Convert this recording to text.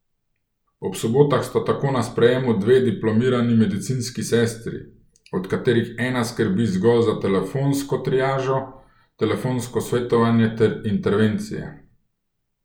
Ob sobotah sta tako na sprejemu dve diplomirani medicinski sestri, od katerih ena skrbi zgolj za telefonsko triažo, telefonsko svetovanje ter intervencije.